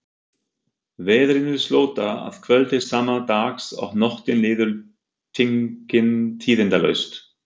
Veðrinu slotar að kvöldi sama dags og nóttin líður tíðindalaust.